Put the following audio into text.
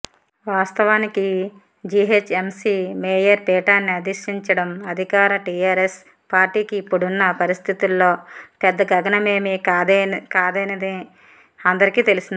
వాస్తవానికి GHMC mayor పీఠాన్ని అధిష్టించడం అధికార టీఆర్ఎస్ పార్టీకి ఇప్పుడున్న పరిస్థితుల్లో పెద్ద గగనమేమీ కాదనేది అందరికీ తెలిసిందే